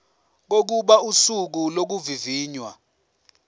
kokuba usuku lokuvivinywa